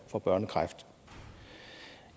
får børnekræft